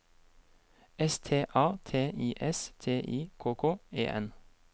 S T A T I S T I K K E N